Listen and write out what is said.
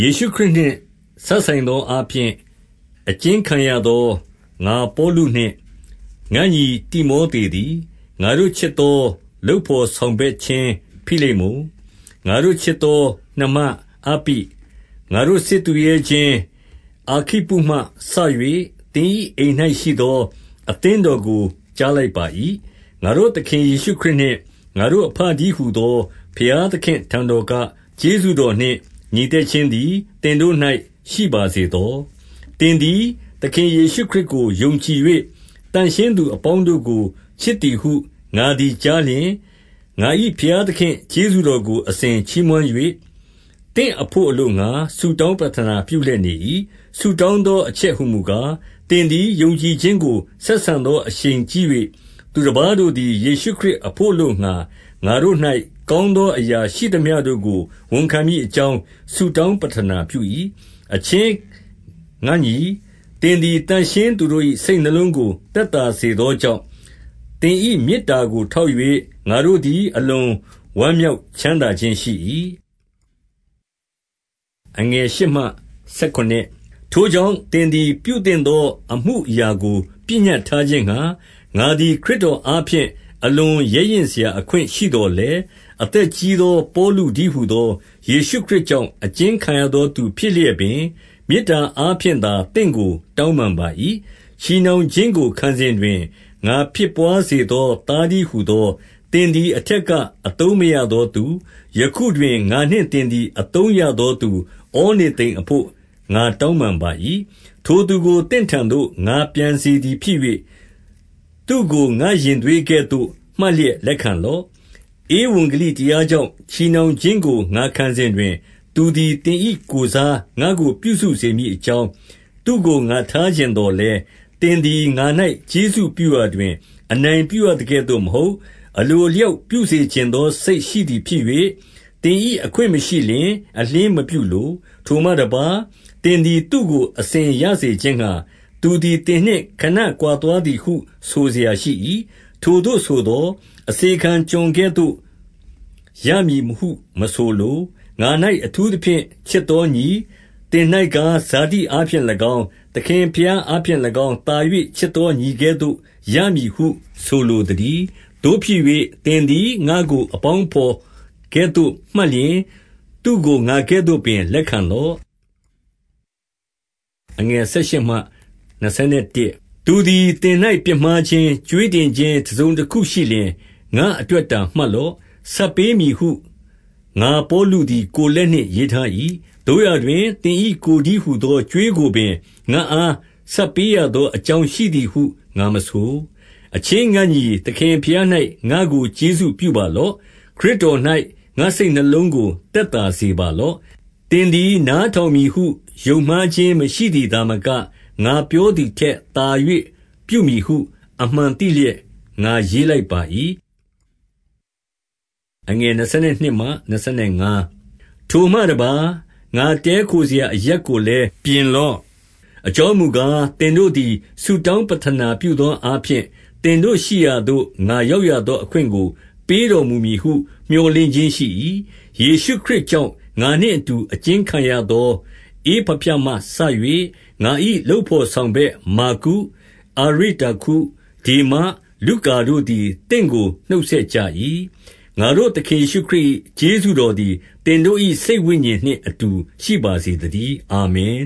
ယေရှုခရစ်နှင့်စပ်ဆိုင်သောအားဖြင့် အကျဉ်းခံရသော ငါပေါလုနှင့် ငါ့ညီတိမောသေသည်၊ ငါတို့ ချစ်သော လုပ်ဘော်ဆောင်ဘက်ချင်းဖိလေမုန်၊ 2 ငါတို့ချစ်သော နှမအပ္ပိ၊ ငါတို့စစ်သူရဲချင်း အာခိပ္ပုမှစ၍ သင်၏ အိမ်၌ရှိသော အသင်းတော်ကို ကြားလိုက်ပါ၏။ 3 ငါတို့သခင်ယေရှုခရစ်နှင့် ငါတို့အဘတည်းဟူသော ဘုရားသခင့်အထံတော်ကကျေးဇူးတော်နှင့် ငြိမ်သက်ခြင်းသည် သင်တို့၌ ရှိပါစေသော။ 4 သင်သည်သခင် ယေရှုခရစ်ကို ယုံကြည်၍ သန့်ရှင်းသူအပေါင်းတို့ကို ချစ်သည်ဟု ငါသည်ကြားလျှင်၊ 5 ငါ၏ဘုရားသခင့် ကျေးဇူးတော်ကို အစဉ်ချီးမွမ်း၍၊ သင့်အဘို့ အလိုငှါ ဆုတောင်းပဌနာ ပြုလျက်နေ၏။ 6 ဆုတောင်းသောအချက်ဟူမူကား၊ သင်သည် ယုံကြည်ခြင်းကို ဆက်ဆံသော အရှိန်ကြီး၍၊ သူတပါးတို့ သည် ယေရှုခရစ်အဘို့အလိုငှါ ငါတို့၌ ကောင်းသောအရာ ရှိသမျှတို့ကို ဝန်ခံမည်အကြောင်း ဆုတောင်း ပဌနာပြု၏။ 7 အချင်းငါ့ညီ၊ သင်သည် သန့်ရှင်းသူတို့၏ စိတ်နှလုံးကို သက်သာစေသောကြောင့်၊ သင်၏မေတ္တာကို ထောက်၍ ငါတို့သည် အလွန်ဝမ်းမြောက်ချမ်းသာခြင်းရှိ၏။ 8 ထိုကြောင့်၊ သင်သည်ပြုသင့်သောအမှုအရာကို ပညတ်ထားခြင်းငှါ၊ ငါသည် ခရစ်တော်အားဖြင့် အလွန် ရဲရင့်စရာ အခွင့်ရှိသော်လည်း၊ 9 အသက်ကြီးသော ပေါလုတည်းဟူသော ယေရှုခရစ်ကြောင့် အကျဉ်းခံရသောသူ ဖြစ်လျက်ပင်၊ မေတ္တာအားဖြင့်သာ သင့်ကို တောင်းပန်ပါ၏။ 10 ချည်နှောင်ခြင်းကိုခံစဉ်တွင် ငါဖြစ်ဘွါးစေသော သားတည်းဟူသော၊ 11 သင်သည် အထက်ကအသုံးမရသောသူ၊ ယခုတွင် ငါနှင့်သင်သည် အသုံးရသောသူ ဩနေသိမ်အဘို့ ငါတောင်းပန်ပါ၏။ 12 ထိုသူကို သင့်ထံသို့ ငါပြန်စေသည်ဖြစ်၍၊ သူ့ကို ငါ့ရင်သွေးကဲ့သို့မှတ်လျက် လက်ခံလော့။ 13 ဧဝံဂေလီတရားကြောင့် ချည်နှောင်ခြင်းကို ငါခံစဉ်တွင်၊ သူသည် သင်၏ ကိုယ်စားငါ့ကို ပြုစုစေမည် အကြောင်း၊ သူ့ကို ငါထားချင်သော်လည်း၊ 14 သင်သည်ငါ၌ ကျေးဇူးပြုရာတွင် အနိုင်ပြုရသကဲ့သို့မဟုတ်၊ အလိုအလျောက်ပြုစေချင်သော စိတ် ရှိသည်ဖြစ်၍၊ သင်၏ အခွင့်မရှိလျှင် အလျှင်းမပြုလို။ 15 ထိုမှတပါး၊ သင်သည်သူ့ကို အစဉ်ရစေခြင်းငှါ၊ သူသည် သင်နှင့်ခဏကွာသွားသည်ဟု ဆိုစရာရှိ၏။ 16 ထိုသို့ဆိုသော်၊ အစေခံ ကျွန်ကဲ့သို့ရမည်ဟု မဆိုလို၊ ငါ၌ အထူးသဖြင့် ချစ်သောညီ၊ သင်၌ကား၊ ဇာတိအားဖြင့်၎င်း၊ သခင်ဘုရားအားဖြင့်၎င်း၊ သာ၍ချစ်သော ညီကဲ့သို့ရမည်ဟု ဆိုလိုသတည်း။ 17 သို့ဖြစ်၍ သင်သည်ငါ့ကို အပေါင်းအဘော်ကဲ့သို့ မှတ်လျှင်၊ သူ့ကိုငါကဲ့သို့ပင် လက်ခံလော့။ 18 သူသည် သင်၌ပြစ်မှားခြင်း၊ ကြွေးတင်ခြင်း တစုံတခုရှိလျှင်၊ ငါ့အတွက်အတာ မှတ်လော့။ 19 ဆပ်ပေးမည်ဟု ငါပေါလုသည် ကိုယ်လက်နှင့် ရေးထား၏။ သို့ရာတွင် သင်၏ကိုယ်တည်းဟူသော ကြွေးကိုပင် ငါ့အားဆပ်ပေးရသောအကြောင်းရှိသည်ဟု ငါမဆို။ 20 အချင်းငါ့ညီ၊ သခင်ဘုရား၌ငါ့ကို ကျေးဇူးပြုပါလော့။ ခရစ်တော်၌ ငါ့စိတ်နှလုံးကို သက်သာစေပါလော့။ 21 သင်သည်နားထောင်မည်ဟု ယုံမှားခြင်းမရှိသည် သာမက၊ ငါပြောသည်ထက်သာ၍ ပြုမည်ဟု အမှန်သိလျက် ငါရေးလိုက်ပါ၏။ 22 ထိုမှတပါး၊ ငါတည်းခိုစရာအရပ်ကိုလည်း ပြင်လော့။ အကြောင်းမူကား၊ သင်တို့သည် ဆုတောင်း ပဌနာပြုသောအားဖြင့် သင်တို့ရှိရာသို့ ငါရောက်ရသော အခွင့်ကို ပေးတော်မူမည်ဟု မြော်လင့်ခြင်းရှိ၏။ 23 ယေရှုခရစ်ကြောင့် ငါနှင့်အတူ အကျဉ်းခံရသော ဧပဖြမှ စ၍၊ 24 ငါ၏ လုပ်ဘော်ဆောင်ဘက် မာကု၊ အာရိတ္တာခု၊ ဒေမ၊ လုကာတို့သည် သင့်ကို နှုတ်ဆက်ကြ၏။ 25 ငါတို့ သခင်ယေရှုခရစ်၏ ကျေးဇူးတော်သည် သင်တို့၏ စိတ်ဝိညာဉ်နှင့်အတူ ရှိပါစေသတည်း။ အာမင်